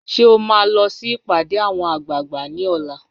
Ṣé ò máa lọ sí ìpàdé àwọn àgbààgbà ní ọ̀la?